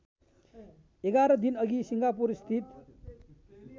११ दिनअघि सिङ्गापुरस्थित